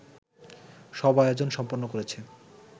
সব আয়োজন সম্পন্ন করেছে